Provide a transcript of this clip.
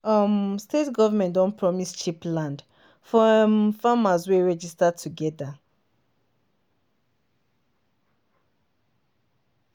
um state government don promise cheap land for um farmers wey register together.